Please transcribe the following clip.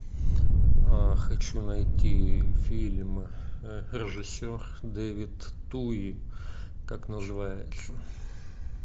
хочу найти фильм режиссер дэвид туи как называется